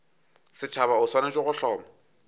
setšhaba o swanetše go hloma